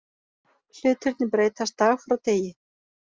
Hlutirnir breytast dag frá degi